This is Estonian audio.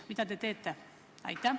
Mida te teete?